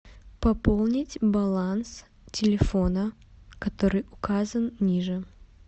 пополнить баланс телефона который указан ниже